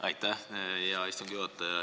Aitäh, hea istungi juhataja!